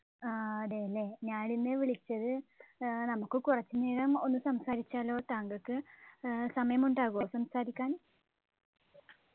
ആഹ് അതെയല്ലേ ഞാൻ ഇന്ന് വിളിച്ചത് ഏർ നമുക്ക് കുറച്ചുനേരം ഒന്ന് സംസാരിച്ചാലോ താങ്കൾക്ക് ഏർ സമയം ഉണ്ടാകുമോ സംസാരിക്കാൻ